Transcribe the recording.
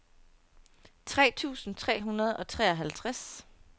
tre tusind tre hundrede og treoghalvtreds